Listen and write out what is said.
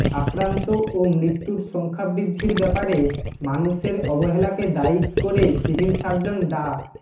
আক্রান্ত ও মৃত্যুর সংখ্যা বৃদ্ধির ব্যাপারে মানুষের অবহেলাকে দায়ী কিরে সিভিল সার্জন ডা